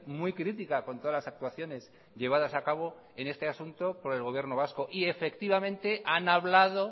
muy crítica con todas las actuaciones llevadas a cabo en este asunto con el gobierno vasco y efectivamente han hablado